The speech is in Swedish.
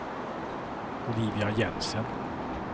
Olivia Jensen